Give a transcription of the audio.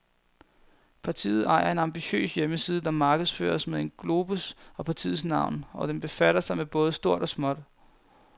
Partiet ejer en ambitiøs hjemmeside, der markedsføres med en globus og partiets navn, og den befatter sig med både stort og småt.